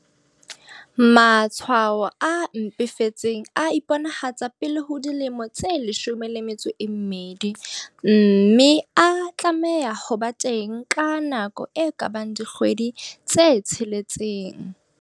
Matshwao a mpefetseng a iponahatsa pele ho dilemo tse 12 mme a tlameha ho ba teng ka nako e ka bang dikgwedi tse tsheletseng.